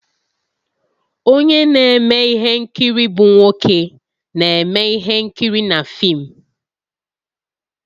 Onye na-eme ihe nkiri bụ nwoke na-eme ihe nkiri na fim